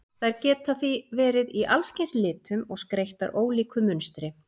Þær geta því verið í allskyns litum og skreyttar ólíku munstri.